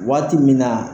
Waati min na